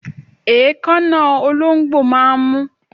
Èékánná ológbò máà ń mú